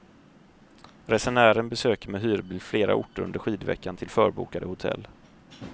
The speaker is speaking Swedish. Resenären besöker med hyrbil flera orter under skidveckan till förbokade hotell.